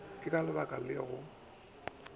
le ka ba le go